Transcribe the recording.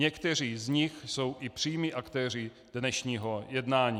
Někteří z nich jsou i přímí aktéři dnešního jednání.